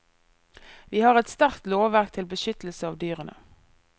Vi har et sterkt lovverk til beskyttelse av dyrene.